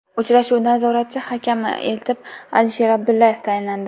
Uchrashuv nazoratchi hakami etib Alisher Abdullayev tayinlandi.